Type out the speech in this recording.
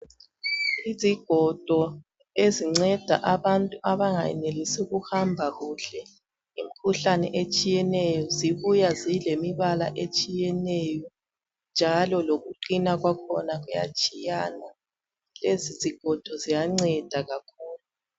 Izigodo ezinceda abantu abangayenelisi ukuhamba kuhle ngemikhuhlane etshiyeneyo zibuya zilemibala etshiyeneyo njalo lokuqina kwakhona kuyatshiyana lezi zigodo ziyanceda kakhulu.